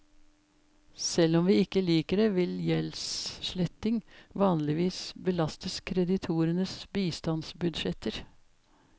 Selv om vi ikke liker det, vil gjeldssletting vanligvis belastes kreditorenes bistandsbudsjetter.